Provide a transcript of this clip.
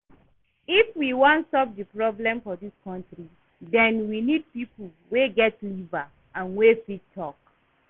If we wan stop the problems for dis country den we need people wey get liver and wey fit talk